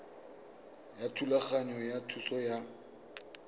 ya thulaganyo ya thuso ya